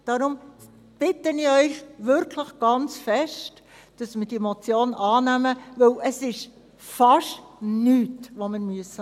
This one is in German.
Daher bitte ich Sie wirklich sehr, dass Sie diese Motion annehmen, denn es ist wirklich fast nichts, das wir tun müssen.